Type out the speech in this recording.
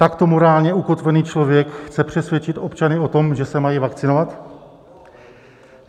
Takto morálně ukotvený člověk chce přesvědčit občany o tom, že se mají vakcinovat?